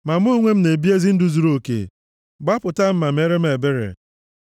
Ma mụ onwe m na-ebi ndụ zuruoke; gbapụta m ma meere m ebere.